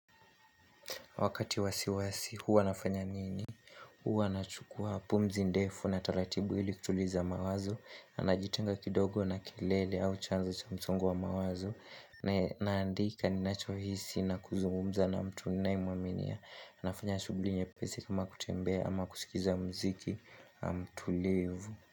Wakati wa wasiwasi, huwa nafanya nini? Huwa nachukua pumzi ndefu na taratibu ili kutuliza mawazo. Na najitenga kidogo na kelele au chanzo cha msongo wa mawazo. Na naandika ninachohisi na kuzungumza na mtu ninayemuaminia. Nafanya shughuli nyepesi kama kutembea ama kusikiza mziki mtulivu.